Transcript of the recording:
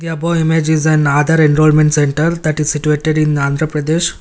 Above image is an aadhar enrolment center that is situated in the andhra pradesh.